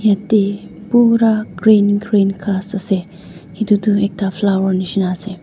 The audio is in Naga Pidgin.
yate pura green green ghas ase etu tu ekta flower nisna ase.